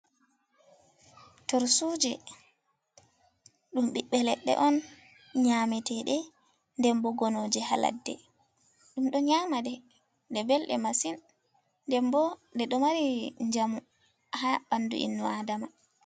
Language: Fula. Tursuje ɗum ɓiɓbe leɗɗe on nyamete ɗe den bo gonoje ha ladde ɗum ɗo nyama ɗe, ɗe ɓelɗe masin, den bo ɗe ɗo mari njamu ha ɓanɗu innu adama.